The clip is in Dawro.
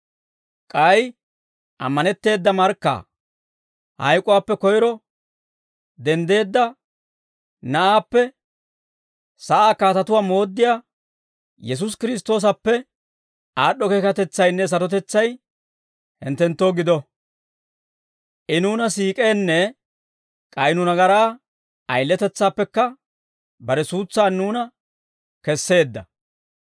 K'ay ammanetteeda markkaa, hayk'uwaappe koyro denddeedda Na'aappe, sa'aa kaatatuwaa mooddiyaa Yesuusi Kiristtoosappe, aad'd'o keekatetsaynne sarotetsay, hinttenttoo gido. I nuuna siik'eenne, k'ay nu nagaraa ayiletetsaappekka, bare suutsan nuuna kesseedda.